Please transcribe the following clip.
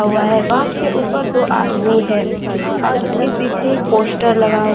हुआ है बांस के ऊपर दो आदमी हैं और उसके पीछे पोस्टर लगा हुआ--